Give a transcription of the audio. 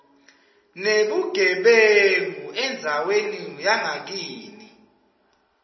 nebugebengu endzaweni yangakini